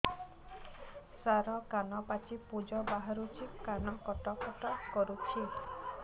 ସାର କାନ ପାଚି ପୂଜ ବାହାରୁଛି କାନ କଟ କଟ କରୁଛି